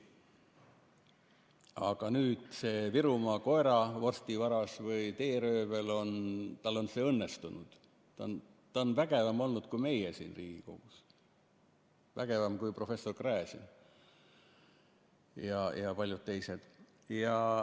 Aga nüüd sellel Virumaa koeravorsti vargal või teeröövlil on see õnnestunud, ta on olnud vägevam kui meie siin Riigikogus, vägevam kui professor Gräzin ja paljud teised.